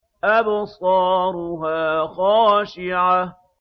أَبْصَارُهَا خَاشِعَةٌ